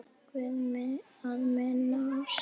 Guð að minna á sig.